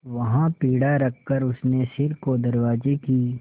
वहाँ पीढ़ा रखकर उसने सिर को दरवाजे की